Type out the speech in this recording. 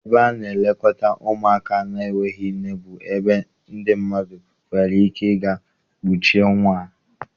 Ebe a na-elekọta ụmụaka na-enweghị nne bụ ebe ndị mmadụ nwere ike ịga kpuchie nwa.